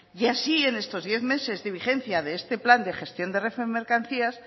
y así en estos diez meses de vigencia de este plan de gestión de renfe de mercancías